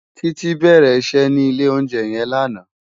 Titi bèrè iṣè ni ilé óunjè yèn làná